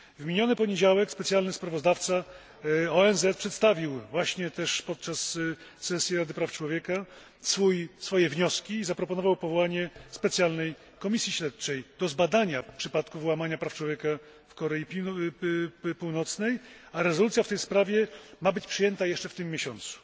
W miniony poniedziałek specjalny sprawozdawca ONZ przedstawił właśnie też podczas sesji Rady Praw Człowieka swoje wnioski i zaproponował powołanie specjalnej komisji śledczej do zbadania przypadków łamania praw człowieka w Korei Północnej, a rezolucja w tej sprawie ma być przyjęta jeszcze w tym miesiącu.